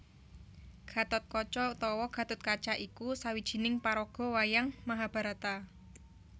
Gathotkaca utawa Gathutkaca iku sawijining paraga wayang Mahabharata